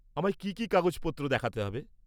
-আমায় কী কী কাগজপত্র দেখাতে হবে?